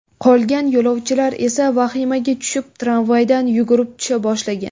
Qolgan yo‘lovchilar esa vahimaga tushib, tramvaydan yugurib tusha boshlagan.